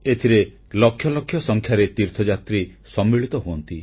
ଏଥିରେ ଲକ୍ଷ ଲକ୍ଷ ସଂଖ୍ୟାରେ ତୀର୍ଥଯାତ୍ରୀ ସମ୍ମିଳିତ ହୁଅନ୍ତି